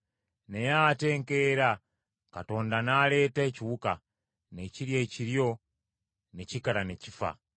Naye ate enkeera Katonda n’aleeta ekiwuka, ne kirya ekiryo ne kikala ne kifa.